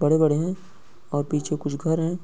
बड़े-बड़े है और पीछे कुछ घर है।